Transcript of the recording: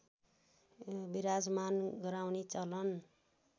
बिराजमान गराउने चलन